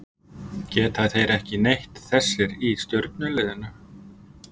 Geta þeir ekki neitt þessir í stjörnuliðinu?